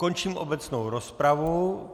Končím obecnou rozpravu.